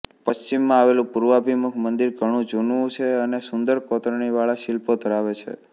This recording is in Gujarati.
પશ્ચિમમાં આવેલું પૂર્વાભિમુખ મંદિર ઘણું જૂનું છે અને સુંદર કોતરણી વાળા શિલ્પો ધરાવે છે